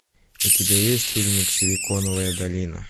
у тебя есть фильмик силиконовая долина